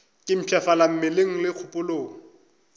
ke mpshafala mmeleng le kgopolong